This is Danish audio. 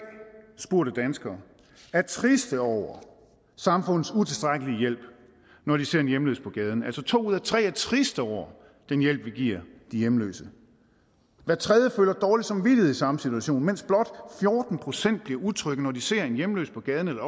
spurgte danskere er triste over samfundets utilstrækkelige hjælp når de ser en hjemløs på gaden altså to ud af tre er triste over den hjælp vi giver de hjemløse hver tredje føler dårlig samvittighed i samme situation mens blot fjorten procent bliver utrygge når de ser en hjemløs på gaden eller